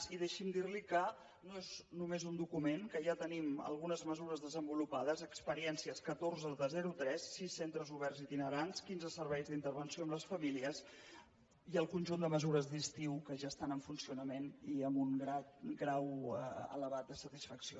i deixi’m dir li que no és només un document que ja tenim algunes mesures desenvolupades experiències catorze de zero a tres sis centres oberts itinerants quinze serveis d’intervenció amb les famílies i el conjunt de mesures d’estiu que ja estan en funcionament i amb un grau elevat de satisfacció